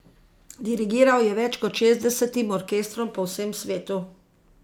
Dirigiral je več kot šestdesetim orkestrom po vsem svetu.